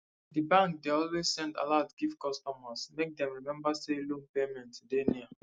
di bank dey always send alert give customers make dem remember say loan payment dey near